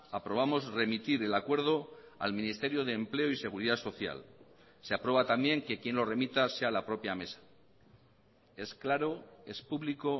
aprobamos remitir el acuerdo al ministerio de empleo y seguridad social se aprueba también que quien lo remita sea la propia mesa es claro es público